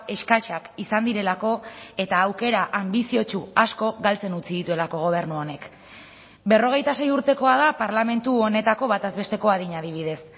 eskasak izan direlako eta aukera anbiziotsu asko galtzen utzi dituelako gobernu honek berrogeita sei urtekoa da parlamentu honetako bataz besteko adina adibidez